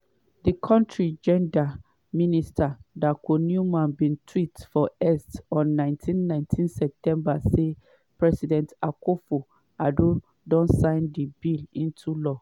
di kontri gender minister dakoa newman bin tweet for x on 19 19 september say “president akufo-addo don sign di bill into law.